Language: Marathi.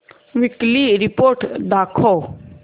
वीकली रिपोर्ट दाखव